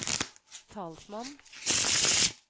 talsmann